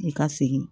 I ka segin